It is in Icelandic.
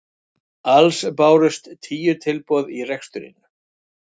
Alls bárust tíu tilboð í reksturinn